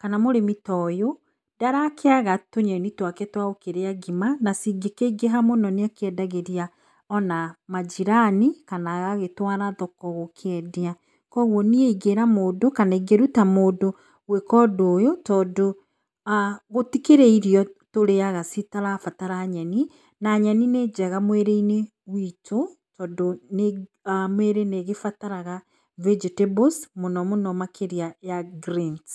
kana mũrĩmi toyũ ndarakĩaga tũnyeni twake twa gũkĩrĩa ngima na cingĩkĩingĩha mũno nĩ akĩendagĩria ona manjirani kana agagĩtwara thoko gũkĩendia. Kũoguo niĩ ingĩra mũndũ kana ingĩruta mũndũ gwĩka ũndũ ũyũ tondũ gũtikĩrĩ irio tũrĩaga citarabatara nyeni na nyeni nĩ njega mwĩrĩ-inĩ witũ tondũ mĩrĩ nĩ ĩgĩbataraga vegetables mũno mũno ya greens.